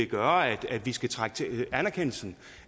gøre at vi skulle trække anerkendelsen